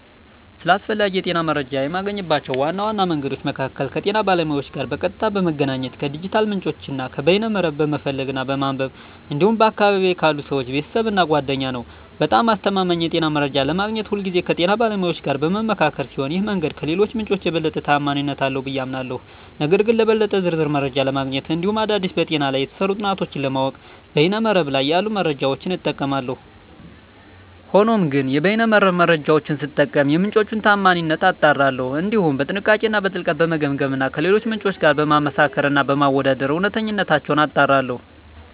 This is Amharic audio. ስለ አስፈላጊ የጤና መረጃን የማገኝባቸው ዋና መንገዶች መካከል ከጤና ባለሙያዎች ጋር በቀጥታ በመገናኘት፣ ከዲጂታል ምንጮች እና ከበይነ መረብ በመፈለግ እና በማንበብ እንዲሁም በአካባቢየ ካሉ ሰወች፣ ቤተሰብ እና ጓደኛ ነዉ። በጣም አስተማማኝ የጤና መረጃ ለማግኘት ሁልጊዜ ከጤና ባለሙያዎች ጋር በምመካከር ሲሆን ይህ መንገድ ከሌሎቹ ምንጮች የበለጠ ተአማኒነት አለው ብየ አምናለሁ። ነገር ግን ለበለጠ ዝርዝር መረጃ ለማግኘት እንዲሁም አዳዲስ በጤና ላይ የተሰሩ ጥናቶችን ለማወቅ በይነ መረብ ላይ ያሉ መረጃዎችን እጠቀማለሁ። ሆኖም ግን የበይነ መረብ መረጃወቹን ስጠቀም የምንጮቹን ታአማኒነት አጣራለሁ፣ እንዲሁም በጥንቃቄ እና በጥልቀት በመገምገም እና ከሌሎች ምንጮች ጋር በማመሳከር እና በማወዳደር እውነተኝነታቸውን አጣራለሁ።